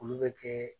Olu bɛ kɛ